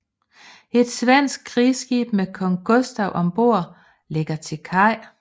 Et svensk krigsskib med kong Gustav ombord lægger til kaj